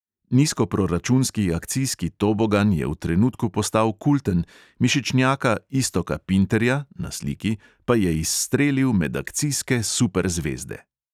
Nizkoproračunski akcijski tobogan je v trenutku postal kulten, mišičnjaka iztoka pinterja (na sliki) pa je izstrelil med akcijske superzvezde.